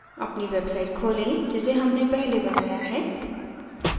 अपनी website खोलें जिसे हमने पहले बनाया है